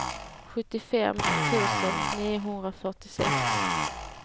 sjuttiofem tusen niohundrafyrtiosex